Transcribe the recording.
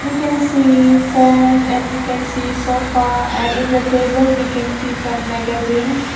we can see fan and we can see sofa and in the table we can see some magazines.